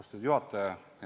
Austatud juhataja!